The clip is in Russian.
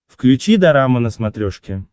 включи дорама на смотрешке